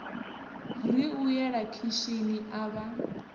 ri u yela khishini avha